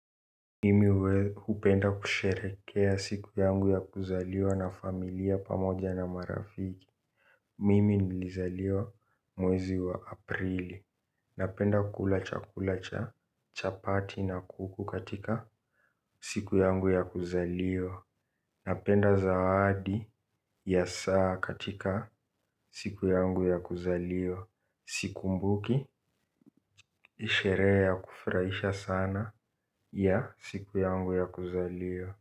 Mimi hupenda kusherehekea siku yangu ya kuzaliwa na familia pamoja na marafiki. Mimi nilizaliwa mwezi wa aprili. Napenda kukula chakula cha chapati na kuku katika siku yangu ya kuzaliwa. Napenda zawadi ya saa katika siku yangu ya kuzaliwa. Sikumbuki sherehe ya kufurahisha sana ya siku yangu ya kuzaliwa.